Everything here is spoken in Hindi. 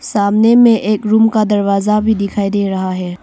सामने में एक रूम का दरवाजा भी दिखाई दे रहा है।